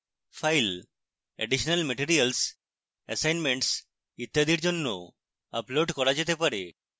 files additional materials assignments ইত্যাদির জন্য upload করা যেতে পারে